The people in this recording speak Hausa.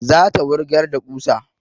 Za ta wurgar da ƙusa